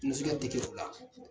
Musutikɛri teke fila